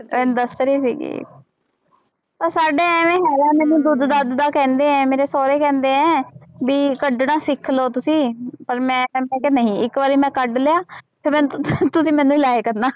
ਇਹ ਦੱਸ ਰਹੀ ਸੀਗੀ ਉਹ ਸਾਡੇ ਇਵੇਂ ਹੈਗਾ ਮੈਨੂੰ ਦੁੱਧ ਦੱਧ ਦਾ ਕਹਿੰਦੇ ਹੈ ਮੇਰੇ ਸਹੁਰੇ ਕਹਿੰਦੇ ਹੈ ਵੀ ਕੱਢਣਾ ਸਿੱਖ ਲਓ ਤੁਸੀਂ ਪਰ ਮੈਂ ਮੈਂ ਕਿਹਾ ਨਹੀਂ ਇੱਕ ਵਾਰੀ ਮੈਂ ਕੱਢ ਲਿਆ ਤੇ ਮੈਨੂੰ ਤੁਸੀਂ ਮੈਨੂੰ ਹੀ ਲਾਇਆ ਕਰਨਾ।